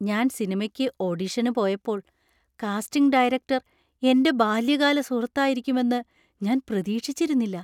ഞാൻ സിനിമയ്ക്ക് ഓഡിഷന് പോയപ്പോൾ, കാസ്റ്റിംഗ് ഡയറക്ടർ എന്‍റെ ബാല്യകാല സുഹൃത്തായിരിക്കുമെന്ന് ഞാൻ പ്രതീക്ഷിച്ചിരുന്നില്ല.